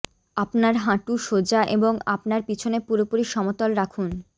আপনার হাঁটু সোজা এবং আপনার পিছনে পুরোপুরি সমতল রাখুন